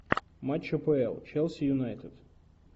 матч апл челси юнайтед